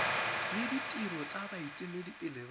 le ditiro tsa baeteledipele ba